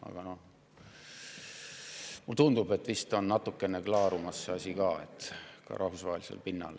Aga mulle tundub, et see asi on vist natukene klaarumas, ka rahvusvahelisel pinnal.